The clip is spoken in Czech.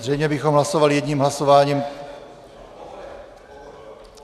Zřejmě bychom hlasovali jedním hlasováním.